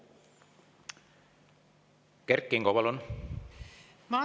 Kert Kingo, palun!